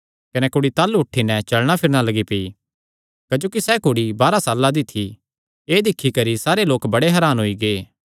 कने कुड़ी ताह़लू उठी नैं चलणा फिरणा लग्गी पेई क्जोकि सैह़ कुड़ी बारांह साल्लां दी थी एह़ दिक्खी करी सारे लोक बड़े हरान होई गै